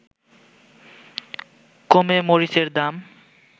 কমে মরিচের দাম